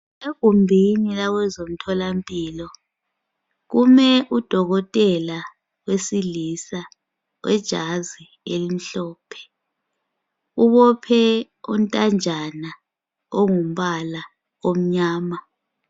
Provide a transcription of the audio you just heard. Egumbini lakwezemtholampilo kume udokotela wesilisa Wejazi elimhlophe, ubophe ontanjana ongumbala omnyama.